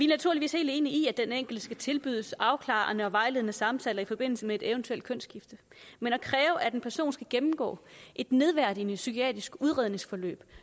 naturligvis helt enige i at den enkelte skal tilbydes afklarende og vejledende samtaler i forbindelse med et eventuelt kønsskifte men at kræve at en person skal gennemgå et nedværdigende psykiatrisk udredningsforløb